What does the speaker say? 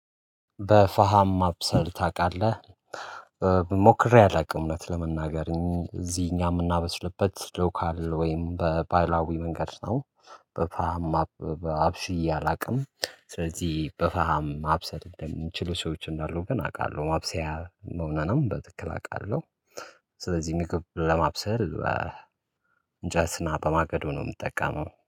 በፋሃም ማብሰል ታቃለህ ሞክሬ አላቅም እውነት ለመናገር እዚህ እኛ የምናበስልበት ሎካል ወይም በባህላዊ መንገድ ነው። በፋም አብስዬ አላቅም ስለዚህ በፈሃም ማብሰል የሚችሉ ሰዎች እንዳሉ ግን አቃለሁ ማብሰያ መሆኑንም በትክክል አውቃለሁ። ስለዚህ የሚከብድ ለማብሰል እንጨትና በማገዶ ነው ምጠቀመው